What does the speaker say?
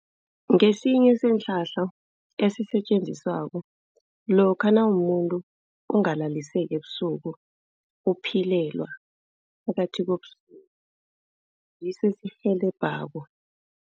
Ngesinye sesihlahla esisetjenziswako lokha nawumumuntu ongalaliseki ebusuku, uphilelwa phakathi kobusuku. Ngiso esikurhelebhako.